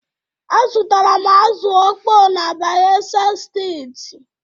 Azụtara m azụ̀ ọkpọ na Bayelsa Steeti.